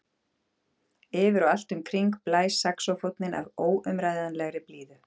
Yfir og allt um kring blæs saxófónninn af óumræðilegri blíðu.